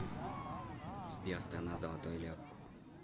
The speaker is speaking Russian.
сбер страна золотой лев